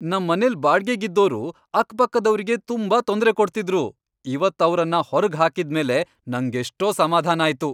ನಮ್ಮನೆಲ್ ಬಾಡ್ಗೆಗಿದ್ದೋರು ಅಕ್ಪಕ್ಕದವ್ರಿಗೆ ತುಂಬಾ ತೊಂದ್ರೆ ಕೊಡ್ತಿದ್ರು, ಇವತ್ತ್ ಅವ್ರನ್ನ ಹೊರ್ಗ್ ಹಾಕಿದ್ಮೇಲೆ ನಂಗೆಷ್ಟೋ ಸಮಾಧಾನ ಆಯ್ತು.